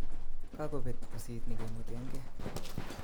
Kakobet usit nekemweteke